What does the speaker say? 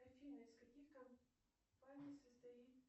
афина из каких компаний состоит